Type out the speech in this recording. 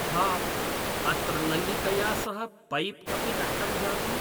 हा अत्र नल्लिकया सह पैप् अपि नष्टं जातम्